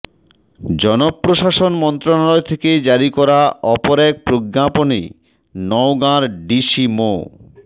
জনপ্রশাসন মন্ত্রণালয় থেকে জারি করা অপর এক প্রজ্ঞাপনে নওগাঁর ডিসি মো